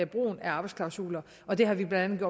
brugen af arbejdsklausuler og det har vi blandt